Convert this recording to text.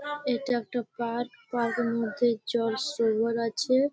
এটা একটা park. Park -এর মধ্যে জল শ্রবণ আছে।